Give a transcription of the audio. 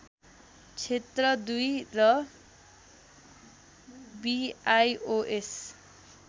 क्षेत्र २ र बिआइओएस